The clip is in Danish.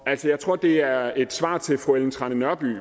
altså jeg tror det er et svar til fru ellen trane nørby